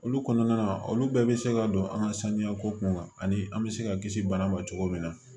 Olu kɔnɔna na olu bɛɛ bɛ se ka don an ka sanuya ko kunkan ani an bɛ se ka kisi bana ma cogo min na